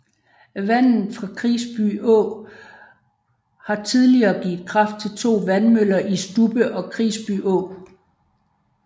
Vandet fra Krisby Å har tidligere givet kraft til to vandmøller i Stubbe og Krisbyå